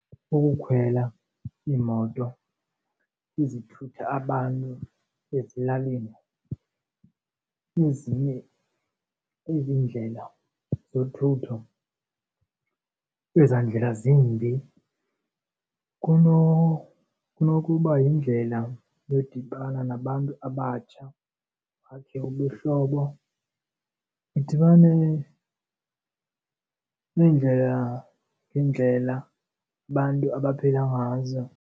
Ukukhwela iimoto ezithutha abantu ezilalini ezinye ezindlela zothutho kwezaa ndlela zimbi kunokuba yindlela yodibana nabantu abatsha bakhe ubuhlobo. Nidibane neendlela ngeendlela abantu abaphila ngazo.